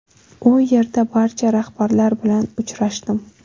U yerga barcha rahbarlar bilan uchrashdim.